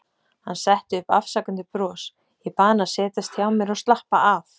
Hann setti upp afsakandi bros, ég bað hann að setjast hjá mér og slappa af.